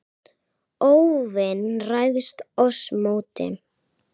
óvin ræðst oss móti.